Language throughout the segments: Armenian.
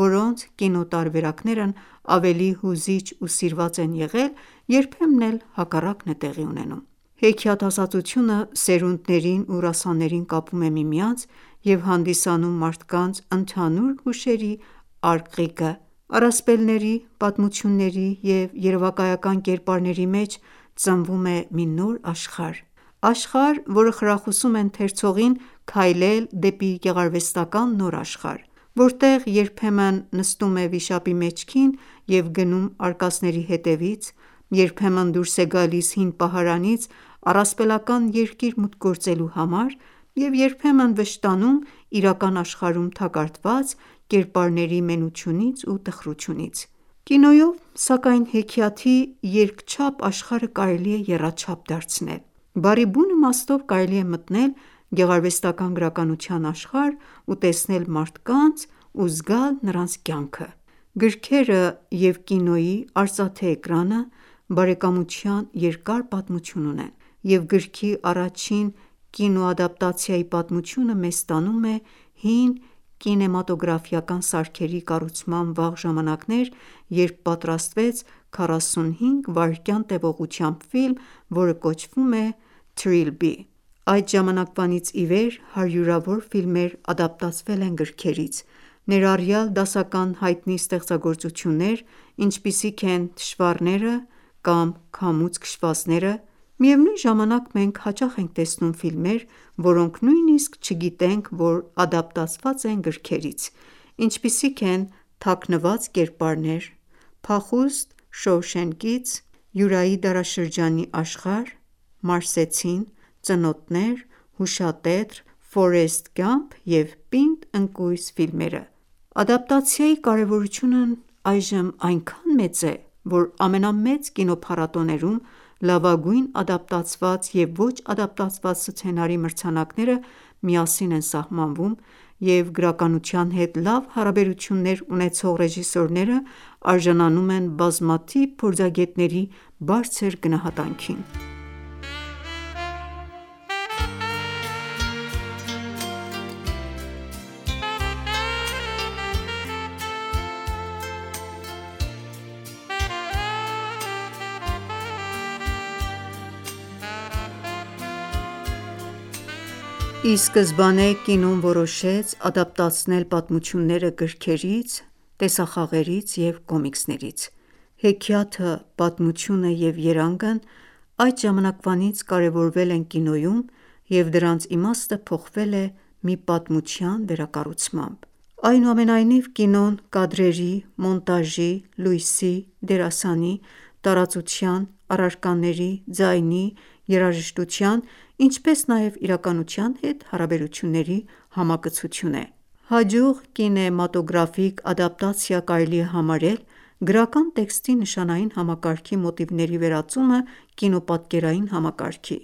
որոնց կինոտարբերակներն ավելի հուզիչ ու սիրված են եղել, երբեմն էլ հակառակն է տեղի ունենում: Հեքիաթասացությունը սերունդներին ու ռասաներին կապում է միմյանց և հանդիսանում մարդկանց ընդհանուր հուշերի արկղիկը: Առասպելների, պատմությունների և երևակայական կերպարների մեջ ծնվում է մի նոր աշխարհ։ Աշխարհ, որը խրախուսում է ընթերցողին քայլել դեպի գեղարվեստական ​​նոր աշխարհ, որտեղ երբեմն նստում է վիշապի մեջքին և գնում արկածների հետևից, երբեմն դուրս է գալիս հին պահարանից առասպելական երկիր մուտք գործելու համար, և երբեմն վշտանում իրական աշխարհում թակարդված կերպարների մենությունից ու տխրությունից: Կինոյով, սակայն, հեքիաթի երկչափ աշխարհը կարելի է եռաչափ դարձնել։ Բառի բուն իմաստով կարելի է մտնել գեղարվեստական ​​գրականության աշխարհ ու տեսնել մարդկանց ու զգալ նրանց կյանքը: Գրքերը և կինոյի արծաթե էկրանը բարեկամության երկար պատմություն ունեն, և գրքի առաջին կինոադապտացիայի պատմությունը մեզ տանում է հին կինեմատոգրաֆիական սարքերի կառուցման վաղ ժամանակներ, երբ պատրաստվեց 45 վայրկյան տեւողությամբ ֆիլմ, որը կոչվում է Trilby: Այդ ժամանակվանից ի վեր հարյուրավոր ֆիլմեր ադապտացվել են գրքերից, ներառյալ դասական հայտնի ստեղծագործություններ՝ ինչպիսիք են «Թշվառները» (Les Misérables) կամ «Քամուց քշվածները» (Gone with the Wind): Միևնույն ժամանակ, մենք հաճախ ենք տեսնում ֆիլմեր, որոնք նույնիսկ չգիտենք, որ ադապտացված են գրքերից։ Ինչպիսիք են «Թաքնված կերպարներ» ( Hidden Figures), «Փախուստ Շոուշենկից» (Redemption in Shawshank), «Յուրայի դարաշրջանի աշխարհ» (Jurassic Park), «Մարսեցին» (The Martian), «Ծնոտներ» (Jaws), Հուշատետր (The Notebook), «Ֆորեսթ Գամփ» (Forrest Gump) և «Պինդ ընկույզ» (Die Hard) ֆիլմերը: Ադապտացիայի կարևորությունն այժմ այնքան մեծ է, որ ամենամեծ կինոփառատոներում լավագույն ադապտացված և ոչ ադապտացված սցենարի մրցանակները միասին են սահմանվում, և գրականության հետ լավ հարաբերություններ ունեցող ռեժիսորները արժանանում են բազմաթիվ փորձագետների բարձր գնահատանքին: Ի սկզբանե կինոն որոշեց ադապտացնել պատմությունները գրքերից, տեսախաղերից և կոմիքսներից։ Հեքիաթը, պատմությունը և երանգն այդ ժամանակվանից կարևորվել են կինոյում, և դրանց իմաստը փոխվել է մի «պատմության վերակառուցմամբ»: Այնուամենայնիվ, կինոն կադրերի, մոնտաժի, լույսի, դերասանի, տարածության, առարկաների, ձայնի, երաժշտության, ինչպես նաև իրականության հետ հարաբերությունների համակցություն է։ Հաջող կինեմատոգրաֆիկ ադապտացիա կարելի է համարել գրական տեքստի նշանային համակարգի մոտիվների վերածումը կինոպատկերային համակարգի։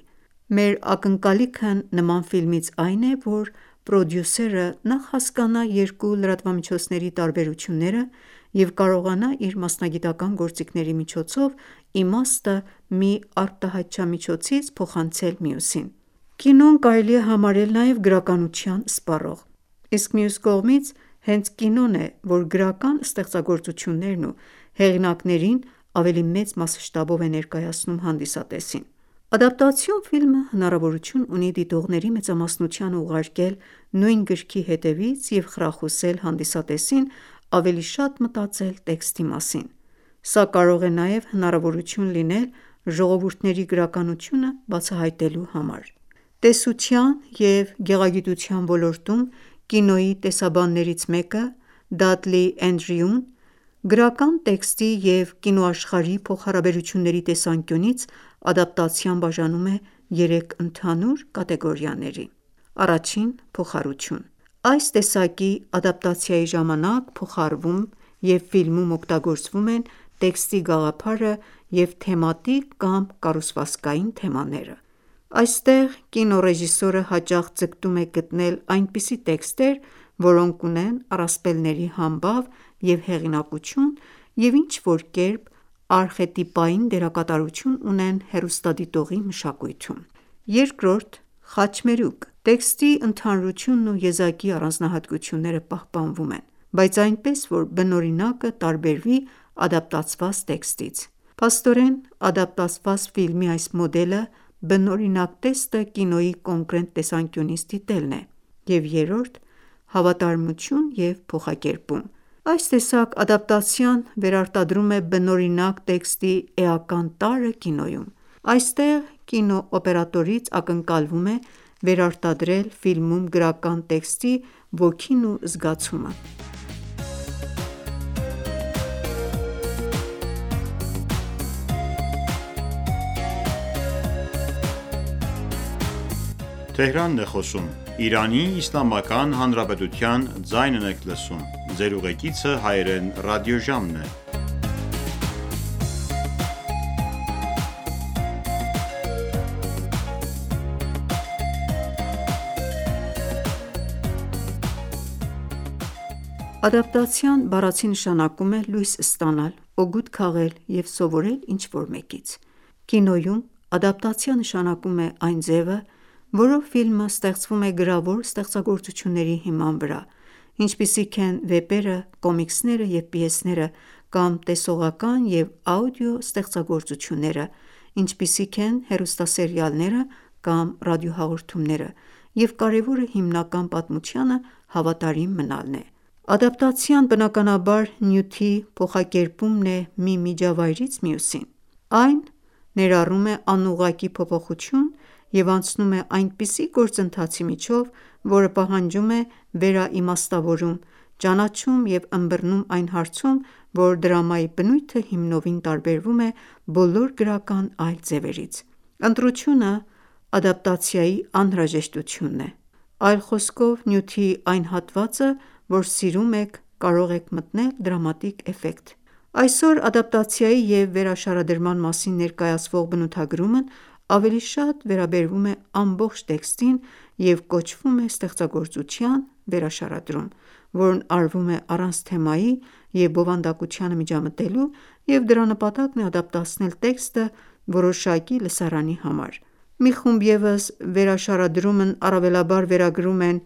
Մեր ակնկալիքն նման ֆիլմից այն ​​է, որ պրոդյուսերը նախ հասկանա երկու լրատվամիջոցների տարբերությունները և կարողանա իր մասնագիտական ​​գործիքների միջոցով իմաստը մի արտահայտչամիջոցից փոխանցել մյուսին: Կինոն կարելի է համարել նաև գրականություն սպառող, իսկ մյուս կողմից՝ հենց կինոն է, որ գրական ստեղծագործություններն ու հեղինակներին ավելի մեծ մասշտաբով է ներկայացնում հանդիսատեսին։ Ադապտացիոն ֆիլմը հնարավորություն ունի դիտողների մեծամասնությանը ուղարկել նույն գրքի հետևից և խրախուսել հանդիսատեսին ավելի շատ մտածել տեքստի մասին: Սա կարող է նաև հնարավորություն լինել ժողովուրդների գրականությունը բացահայտելու համար։ Տեսության և գեղագիտության ոլորտում կինոյի տեսաբաններից մեկը՝ Դադլի Էնդրյուն, գրական տեքստի և կինոաշխարհի փոխհարաբերությունների տեսանկյունից ադապտացիան բաժանում է երեք ընդհանուր կատեգորիաների. Փոխառություն, (Borrowing) այս տեսակի ադապտացիայի ժամանակ փոխառվում և ֆիլմում օգտագործվում են տեքստի գաղափարը և թեմատիկ կամ կառուցվածքային թեմաները: Այստեղ կինոռեժիսորը հաճախ ձգտում է գտնել այնպիսի տեքստեր, որոնք ունեն առասպելների համբավ և հեղինակություն և ինչ-որ կերպ արխետիպային դերակատարություն ունեն հեռուստադիտողի մշակույթում: Խաչմերուկ, (Intersection) Տեքստի ընդհանրությունն ու եզակի առանձնահատկությունները պահպանվում են, բայց այնպես, որ բնօրինակը տարբերվի ադապտացված տեքստից: Փաստորեն, ադաբտացված ֆիլմի այս մոդելը բնօրինակ տեքստը կինոյի կոնկրետ տեսանկյունից դիտելն է։ Հավատարմություն և փոխակերպում, (Fidelity and Transformation) այս տեսակ ադապտացիան վերարտադրում է բնօրինակ տեքստի էական տարրը կինոյում: Այստեղ կինոօպերատորից ակնկալվում է վերարտադրել ֆիլմում գրական տեքստի ոգին ու զգացումը։ Ադապտացիա բառացի նշանակում է լույս ստանալ, օգուտ քաղել և սովորել ինչ-որ մեկից: Կինոյում ադապտացիա նշանակում է այն ձևը, որով ֆիլմը ստեղծվում է գրավոր ստեղծագործությունների հիման վրա, ինչպիսիք են վեպերը, կոմիքսները և պիեսները, կամ տեսողական և աուդիո ստեղծագործությունները, ինչպիսիք են հեռուստասերիալները կամ ռադիոհաղորդումները, և կարևորը հիմնական պատմությանը հավատարիմ մնալն է: Ադապտացիան բնականաբար նյութի փոխակերպումն է մի միջավայրից մյուսին: Այն ներառում է անուղղակի փոփոխություն և անցնում է այնպիսի գործընթացի միջով, որը պահանջում է վերաիմաստավորում, ճանաչում և ըմբռնում այն հարցում, որ դրամայի բնույթը հիմնովին տարբերվում է բոլոր գրական այլ ձևերից: «Ընտրությունը» ադապտացիայի անհրաժեշտությունն է: Այլ խոսքով նյութի այն հատվածը, որ սիրում եք, կարող է մտնել դրամատիկ էֆեկտ: Այսօր ադապտացիայի և վերաշարադրման մասին ներկայացվող բնութագրումն ավելի շատ վերաբերվում է ամբողջ տեքստին և կոչվում է ստեղծագործության վերաշարադրում, որն արվում է առանց թեմայի և բովանդակությանը միջամտելու, և դրա նպատակն է ադապտացնել տեքստը որոշակի լսարանի համար: Մի խումբ ևս վերաշարադրումն առավելաբար վերագրում են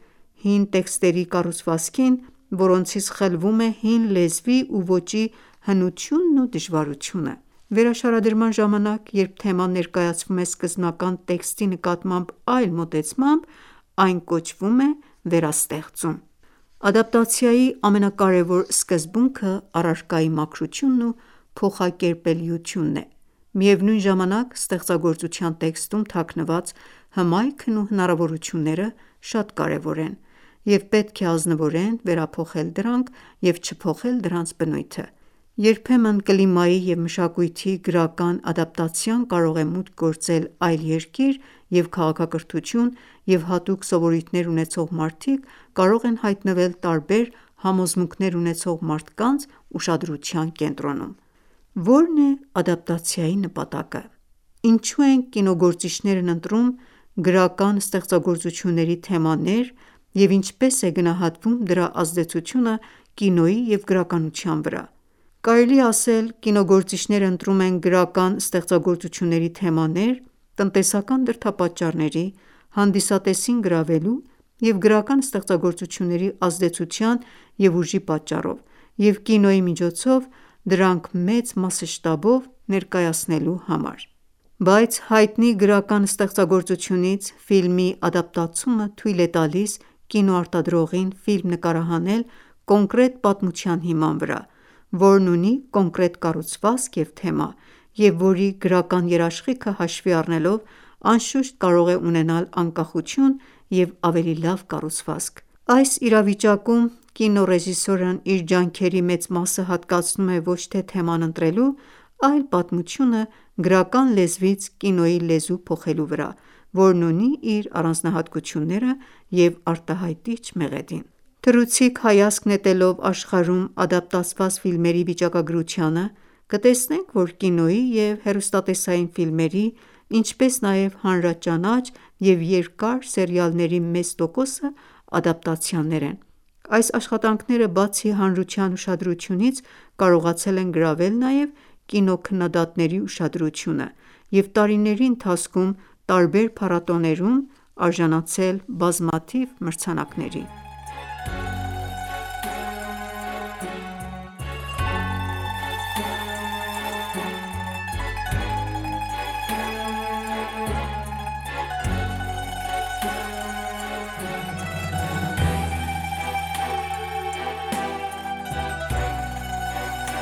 հին տեքստերի կառուցվածքին, որոնցից խլվում է հին լեզվի ու ոճի հնությունն ու դժվարությունը: Վերաշարադրման ժամանակ, երբ թեման ներկայացվում է սկզբնական տեքստի նկատմամբ այլ մոտեցմամբ, այն կոչվում է «վերաստեղծում»: Ադապտացիայի ամենակարևոր սկզբունքը առարկայի մաքրությունն ու փոխակերպելիությունն է: Միևնույն ժամանակ, ստեղծագործության տեքստում թաքնված հմայքն ու հնարավորությունները շատ կարևոր են, և պետք է ազնվորեն վերափոխել դրանք և չփոխել դրանց բնույթը։ Երբեմն կլիմայի և մշակույթի գրական ադապտացիան կարող է մուտք գործել այլ երկիր և քաղաքակրթություն, և հատուկ սովորույթներ ունեցող մարդիկ կարող են հայտնվել տարբեր համոզմունքներ ունեցող մարդկանց ուշադրության կենտրոնում: Ո՞րն է ադապտացիայի նպատակը: Ինչո՞ւ են կինոգործիչներն ընտրում գրական ստեղծագործությունների թեմաներ և ինչպե՞ս է գնահատվում դրա ազդեցությունը կինոյի և գրականության վրա։ Կարելի է ասել կինոգործիչները ընտրում են գրական ստեղծագործությունների թեմաներ՝ տնտեսական դրդապատճառների, հանդիսատեսին գրավելու և գրական ստեղծագործությունների ազդեցության և ուժի պատճառով և կինոյի միջոցով դրանք մեծ մասշտաբով ներկայացնելու համար: Բայց հայտնի գրական ստեղծագործությունից ֆիլմի ադապտացումը թույլ է տալիս կինոարտադրողին ֆիլմ նկարահանել կոնկրետ պատմության հիման վրա, որն ունի կոնկրետ կառուցվածք և թեմա, և որի, գրական երաշխիքը հաշվի առնելով անշուշտ կարող է ունենալ անկախություն և ավելի լավ կառուցվածք: Այս իրավիճակում կինոռեժիսորն իր ջանքերի մեծ մասը հատկացնում է ոչ թե թեման ընտրելու, այլ պատմությունը գրական լեզվից կինոյի լեզու փոխելու վրա, որն ունի իր առանձնահատկությունները և արտահայտիչ մեղեդին: Թռուցիկ հայացք նետելով աշխարհում ադապտացված ֆիլմերի վիճակագրությանը, կտեսնենք, որ կինոյի և հեռուստատեսային ֆիլմերի, ինչպես նաև հանրաճանաչ և երկար սերիալների մեծ տոկոսը ադապտացիաներ են: Այս աշխատանքները բացի հանրության ուշադրությունից, կարողացել են գրավել նաև կինոքննադատների ուշադրությունը և տարիների ընթացքում տարբեր փառատոններում արժանացել բազմաթիվ մրցանակների։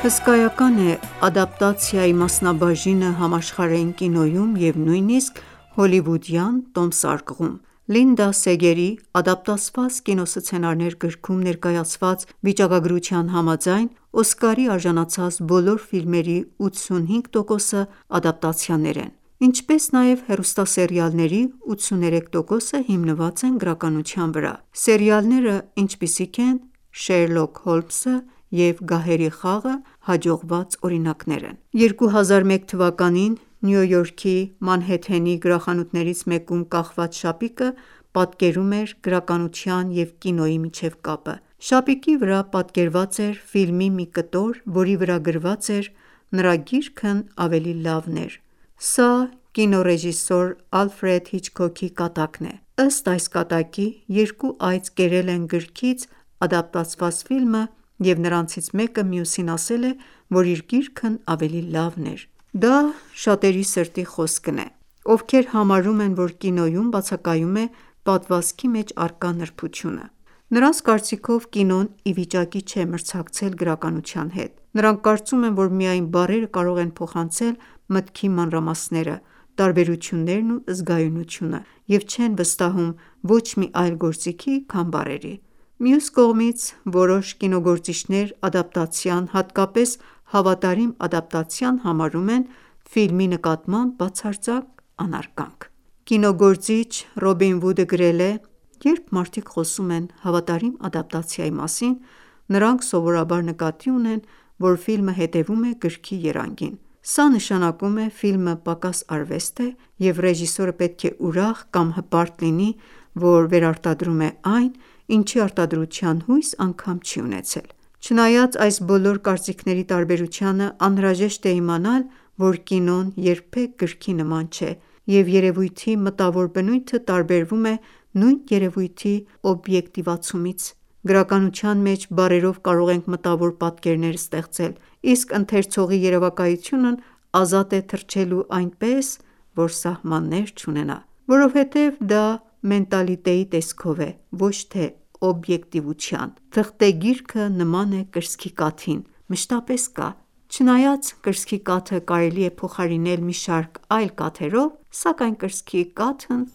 Հսկայական է ադապտացիայի մասնաբաժինը համաշխարհային կինոյում և նույնիսկ հոլիվուդյան տոմսարկղում։ Լինդա Սեգերի «Ադապտացված կինոսցենարներ» գրքում ներկայացված վիճակագրության համաձայն՝ Օսկարի արժանացած բոլոր ֆիլմերի 85 տոկոսը ադապտացիաներ են։ Ինչպես նաև հեռուստասերիալների 83 տոկոսը հիմնված են գրականության վրա։ Սերիալները, ինչպիսիք են «Շերլոկ Հոլմսը» և «Գահերի խաղը», հաջողված օրինակներ են: 2001 թվականին Նյու Յորքի Մանհեթենի գրախանութներից մեկում կախված շապիկը պատկերում էր գրականության և կինոյի միջև կապը։ Շապիկի վրա պատկերված էր ֆիլմի մի կտոր, որի վրա գրված էր «Նրա գիրքն ավելի լավն էր»: Սա կինոռեժիսոր Ալֆրեդ Հիչքոքի կատակն է։ Ըստ այս կատակի՝ երկու այծ կերել են գրքից ադապտացված ֆիլմը, և նրանցից մեկը մյուսին ասել է, որ իր գիրքն ավելի լավն էր։ Դա շատերի սրտի խոսնք է, ովքեր համարում են, որ կինոյում բացակայում է պատմվածքի մեջ առկա նրբությունը: Նրանց կարծիքով կինոն ի վիճակի չէ մրցակցել գրականության հետ: Նրանք կարծում են, որ միայն բառերը կարող են փոխանցել մտքի մանրամասները, տարբերություններն ու զգայունությունը և չեն վստահում ոչ մի այլ գործիքի, քան բառերի: Մյուս կողմից, որոշ կինոգործիչներ ադապտացիան, հատկապես հավատարիմ ադապտացիան համարում են ֆիլմի նկատմամբ բացարձակ անարգանք։ Կինոգործիչ Ռոբին Վուդը գրել է.«Երբ մարդիկ խոսում են հավատարիմ ադապտացիայի մասին, նրանք սովորաբար նկատի ունեն, որ ֆիլմը հետևում է գրքի երանգին, սա նշանակում է ֆիլմը պակաս արվեստ է և ռեժիսորը պետք է ուրախ կամ հպարտ լինի, որ վերարտադրում է այն, ինչի արտադրության հույս անգամ չի ունեցել»: Չնայած այս բոլոր կարծիքների տարբերությանը, անհրաժեշտ է իմանալ, որ կինոն երբեք գրքի նման չէ, և երևույթի մտավոր բնույթը տարբերվում է նույն երեւույթի օբյեկտիվացումից։ Գրականության մեջ բառերով կարող ենք մտավոր պատկերներ ստեղծել, իսկ ընթերցողի երևակայությունն ազատ է թռչելու այնպես, որ սահմաններ չունենա։ Որովհետև դա մենթալիտետի տեսքով է, ոչ թե օբյեկտիվության։ Թղթե գիրքը նման է կրծքի կաթին, մշտապես կա: Չնայած կրծքի կաթը կարելի է փոխարինել մի շարք այլ կաթերով, սակայն կրծքի կաթն